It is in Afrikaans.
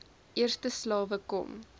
eerste slawe kom